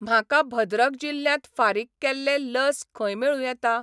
म्हाका भद्रक जिल्ल्यांत फारीक केल्लें लस खंय मेळूं येता?